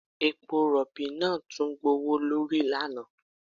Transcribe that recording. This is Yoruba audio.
Epo rọ̀bì náà tún gbówó lórí lánàá